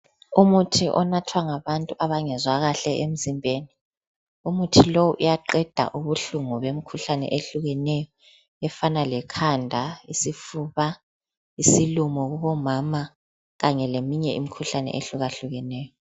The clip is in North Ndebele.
Umuthi onathwa ngabantu abangezwa kahle emzimbeni. Umuthi lo uyaqeda ubuhlungu bemkhuhlane ehlukeneyo efana lekhanda lesifuba, isilumo kubomama kanye leminye imikhuhlane ehlukahlukeneyo.